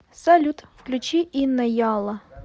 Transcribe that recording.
салют включи инна ялла